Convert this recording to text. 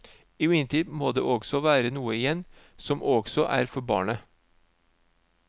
Imidlertid må det også være noe igjen som også er for barnet.